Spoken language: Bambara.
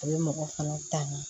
A bɛ mɔgɔ fana ta nin